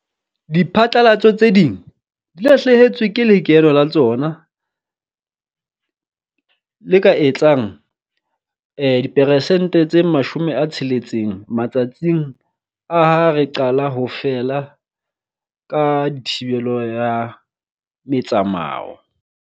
Diphatlalatso tse ding di lahlehetswe ke lekeno la tsona le ka etsang diperesente tse 60 matsatsing a ha re qala ho feela ka thibelo ya metsamao.